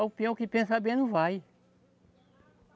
O peão que pensar bem não vai.